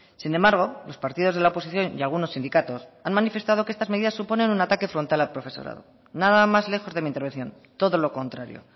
sin embargo los partidos de la oposición y algunos sindicatos han manifestado que estas medidas suponen un ataque frontal al profesorado nada más lejos de mi intervención todo lo contrario